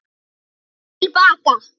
FYRST TIL BAKA.